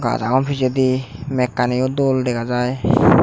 gaj agon pejedi mekanio dol dega jai.